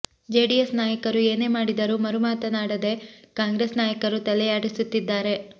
JDS ನಾಯಕರು ಏನೇ ಮಾಡಿದರೂ ಮರು ಮಾತನಾಡದೆ ಕಾಂಗ್ರೆಸ್ ನಾಯಕರು ತಲೆಯಾಡಿಸುತ್ತಿದ್ದಾರೆ